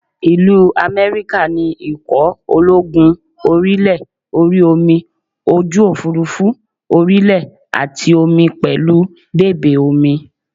Ìlú America ní ikọ̀ ológun orí ilẹ̀, orí omi, ojú òfuurufú, orí ilẹ̀ àti omi pẹ̀lú bèbè omi